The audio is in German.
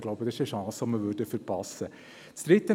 Ich glaube, dies wäre eine Chance, die wir verpassen würden.